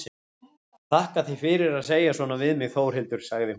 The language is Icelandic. Þakka þér fyrir að segja svona við mig Þórhildur, sagði hún.